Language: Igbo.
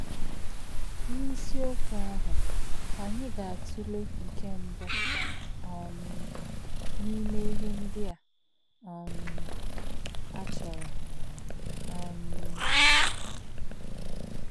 N’ísí̄ọ̀kwū̄ àhū̄, ànyí̄ gā̄-átụ̄lè̄ nké̄ mbụ̀ um n’ímè̄ íhè̄ ndí̄ ā̄ um ā̄ chọ̄rọ̀. um